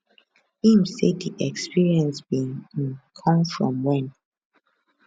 im say di experience bin um come from wen